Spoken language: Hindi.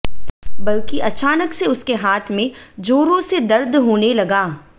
बल्की अचानक से उसके हाथ में जोरों से दर्द होने लगा